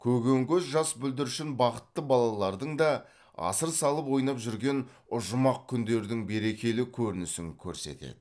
көген көз жас бүлдіршін бақытты балалардың да асыр салып ойнап жүрген жұмақ күндердің берекелі көрінісін көрсетеді